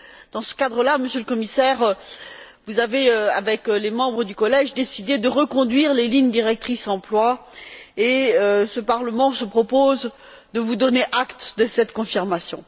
Dans ce cadre là, Monsieur le Commissaire, vous avez, avec les membres du Collège, décidé de reconduire les lignes directrices pour l'emploi et ce Parlement se propose de vous donner acte de cette confirmation.